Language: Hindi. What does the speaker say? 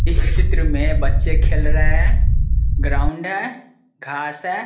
इस चित्र में बच्चे खेल रहे है ग्राउंड है घास है।